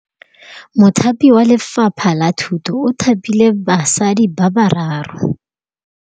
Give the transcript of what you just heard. Mothapi wa Lefapha la Thutô o thapile basadi ba ba raro.